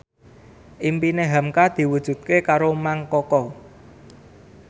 impine hamka diwujudke karo Mang Koko